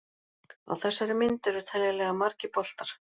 Á þessari mynd eru teljanlega margir boltar.